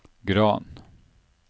Gran